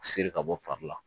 Seri ka bɔ fari la